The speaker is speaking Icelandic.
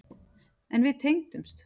En við tengdumst.